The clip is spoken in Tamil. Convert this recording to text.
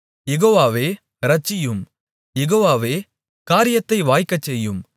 யெகோவாவே இரட்சியும் யெகோவாவே காரியத்தை வாய்க்கச்செய்யும்